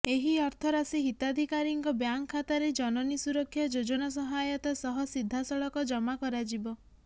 ଏହି ଅର୍ଥରାଶି ହିତାଧିକାରୀଙ୍କ ବ୍ୟାଙ୍କ ଖାତାରେ ଜନନୀ ସୁରକ୍ଷା ଯୋଜନା ସହାୟତା ସହ ସିଧାସଳଖ ଜମା କରାଯିବ